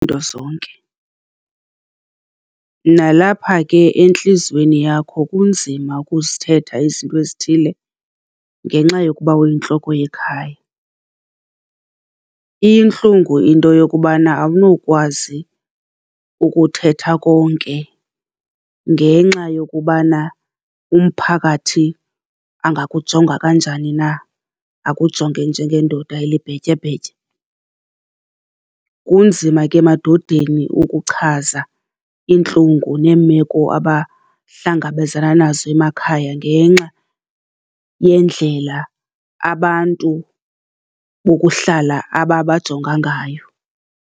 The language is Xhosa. zonke, nalapha ke entliziyweni yakho kunzima ukuzithetha izinto ezithile ngenxa yokuba uyintloko yekhaya. Iyintlungu into yokubana awunokwazi ukuthetha konke ngenxa yokubana umphakathi angakujonga kanjani na, akujonge njengendoda elibhetyebhetye. Kunzima ke emadodeni ukuchaza iintlungu neemeko abahlangabezana nazo emakhaya ngenxa yendlela abantu bokuhlala ababajonga ngayo.